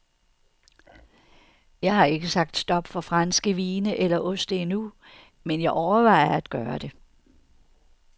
Jeg har ikke sagt stop for franske vine eller oste endnu, men jeg overvejer at gøre det.